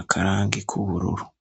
akarangi k'ubururu.